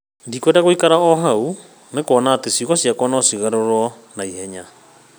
Ndikwenda gũĩkara o hau, nĩ kuona atĩ ciugo ciakwa no cigarũrwo na ihenya.